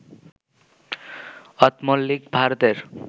অথমল্লিক, ভারতের